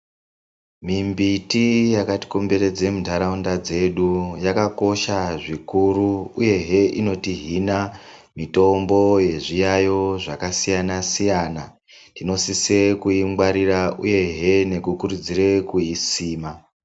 Mimbiti yakatikomberedze muntaraunda dzedu yakakosha zvikuru uyehe inotihina mitombo yezviyayo zvakasiyana siyana tinosise kuingwarira uyehe nekukurudzire kuisima.